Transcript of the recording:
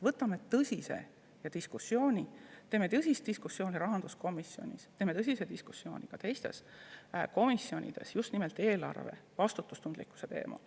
Teeme tõsise diskussiooni rahanduskomisjonis, teeme tõsise diskussiooni ka teistes komisjonides, just nimelt eelarve vastutustundlikkuse teemal.